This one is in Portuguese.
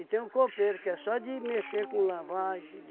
tem o copeiro, que é só de mexer com lavagem, de...